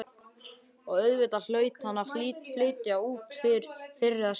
Og auðvitað hlaut hann að flytja út fyrr eða síðar.